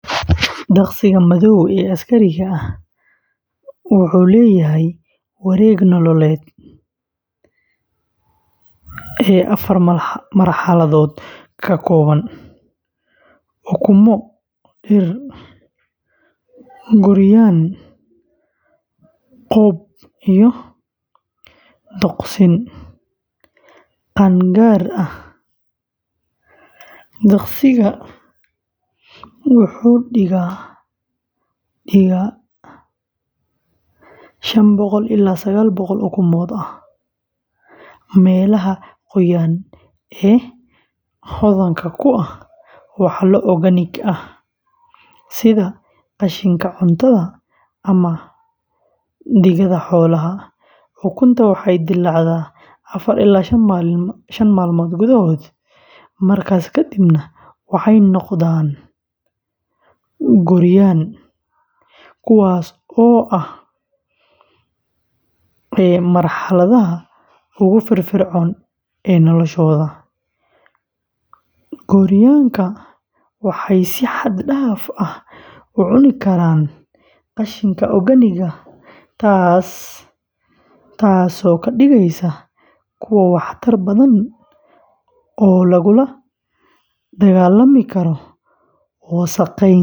Duqsiga madow ee askariga ah wuxuu leeyahay wareeg nololeed afar marxaladood ka kooban: ukumo, diir, gooryaan, qob, iyo duqsin qaangaar ah. Duqsiga wuxuu dhigaa ilaa shaan ilaa sagaal boqol oo ukumo ah meelaha qoyan ee hodanka ku ah walxo organic ah sida qashinka cuntada ama digada xoolaha. Ukunta waxay dilaacdaa afaar ila shaan maalmood gudahood, markaas kadibna waxay noqdaan gooryaan kuwaas oo ah marxaladda ugu firfircoon ee noloshooda. Gooryaanka waxay si xad dhaaf ah u cuni karaan qashinka organic-ga, taasoo ka dhigaysa kuwo waxtar badan oo lagula dagaallami karo wasakheynta.